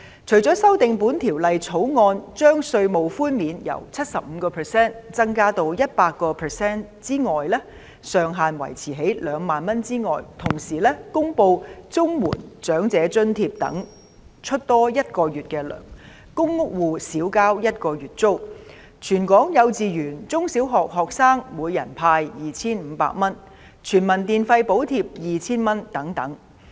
除了修訂《條例草案》，將稅務寬免由 75% 增至 100%， 上限維持在2萬元外，同時公布綜合社會保障援助及長者津貼等額外發放一個月的金額、公屋住戶免交一個月租金、全港幼稚園、中、小學學生每人派 2,500 元，以及全民電費補貼 2,000 元等。